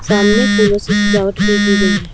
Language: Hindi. सामने फूलों से सजावट भी की गई है।